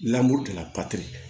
la